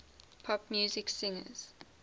pop music singers